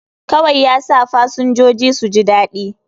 Kawai yasa fasinjoji suji daɗi